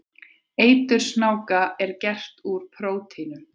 Eitur snáka er gert úr prótínum.